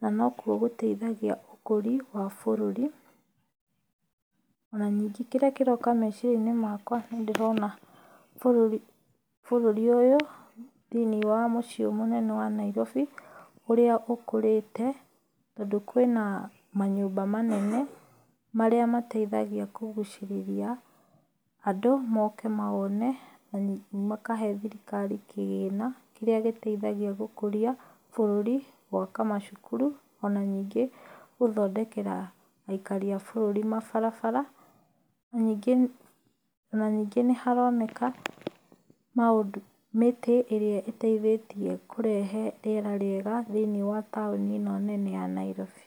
na nokuo gũteithagia ũkũri wa bũrũri. Ona ningĩ kĩrĩa kĩroka meciria-inĩ makwa nĩ ndĩrona bũrũri, bũrũri ũyũ thĩinĩ wa mũciĩ ũyũ mũnene wa Nairobi ũrĩa ũkũrĩte. Tondũ kwĩna manyũmba manene marĩa mateithagia kũgucĩrĩria andũ moke mawone na makahe thirikari kĩgĩna, kĩrĩa gĩteithagia gũkũria bũrũri, gwaka macukuru, ona ningĩ gũthondekera aikari a bũrũri mabarabara. Ona ningĩ, ona ningĩ nĩ haroneka mĩtĩ ĩrĩa ĩteithĩtie kũrehe rĩera rĩega thĩinĩ wa taũni ĩno nene ya Nairobi.